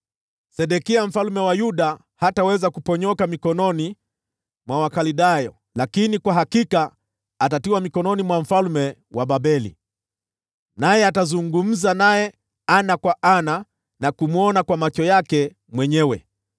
Sedekia mfalme wa Yuda hataweza kuponyoka mikononi mwa Wakaldayo, lakini kwa hakika atatiwa mikononi mwa mfalme wa Babeli, naye atazungumza naye ana kwa ana na kumwona kwa macho yake mwenyewe.